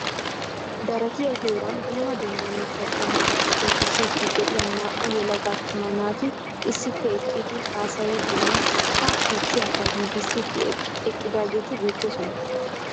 Daratiya heeraani dumma dumma mittaa qommota puutisiiddi de'iya naa"u yelaga attuma naati issippe eqqidi haasayiiddinne ha puutiyakka giigissiiddi eqqidaageeti beettoosona.